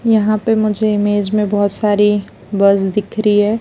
यहां पे मुझे इमेज में बहुत सारी बस दिख रही है।